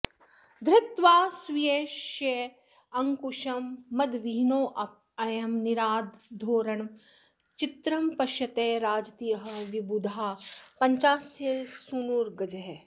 धृत्वा स्वीयशयेऽङ्कुशं मदविहीनोऽयं निराधोरणः चित्रं पश्यत राजतीह विबुधाः पञ्चास्यसूनुर्गजः